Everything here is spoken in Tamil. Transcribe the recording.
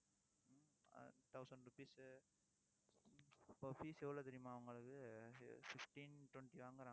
ஆஹ் thousand rupees இப்ப fees எவ்வளவு தெரியுமா உங்களுக்கு fifteen twenty வாங்கறாங்க